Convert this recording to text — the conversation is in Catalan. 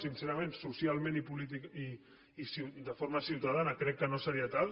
sincerament socialment i de forma ciutadana crec que no seria tal